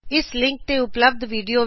ਇਸ ਲਿਂਕ ਤੇ ਉਪਲਬਧ ਵਿਡਿਓ ਦੇਖੋ